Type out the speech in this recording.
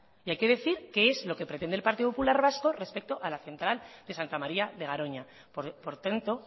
y hay que decir qué es lo que pretende el partido popular vasco respecto a la central de santa maria de garoña por tanto